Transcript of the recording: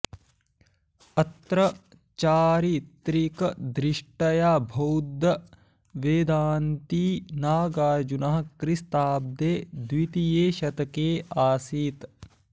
अत्र चारित्रिकदृष्ट्या बौध्दवेदान्ती नागार्जुनः क्रिस्ताब्दे द्वितीये शतके आसीत्